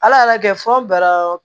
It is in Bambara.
Ala y'a kɛ fɔ bara